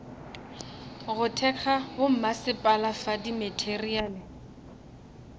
go thekga bommasepala fa dimateriale